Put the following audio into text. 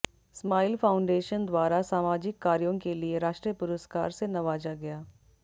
smile Foundation द्वारा सामाजिक कार्यों के लिए राष्ट्रीय पुरस्कार से नवाजा गया